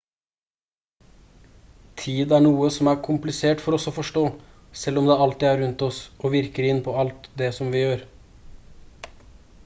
tid er noe som er komplisert for oss å forstå selv om det alltid er rundt oss og virker inn på alt det som vi gjør